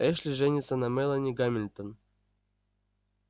эшли женится на мелани гамильтон